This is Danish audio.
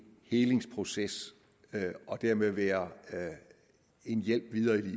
helingsproces og dermed være en hjælp videre i